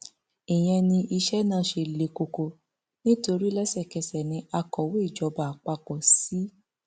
ìyẹn ni iṣẹ náà ṣe le koko nítorí lẹsẹkẹsẹ ní akọwé ìjọba àpapọ cs] c